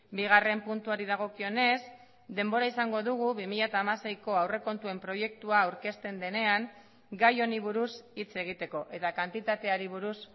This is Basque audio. bigarren puntuari dagokionez denbora izango dugu bi mila hamaseiko aurrekontuen proiektua aurkezten denean gai honi buruz hitz egiteko eta kantitateari buruz